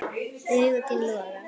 Augu þín loga.